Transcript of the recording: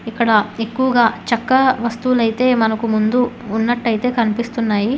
ఇక్కడ ఎక్కువగా చక్కా వస్తువులైతే మనకు ముందు ఉన్నట్టయితే కనిపిస్తున్నాయి.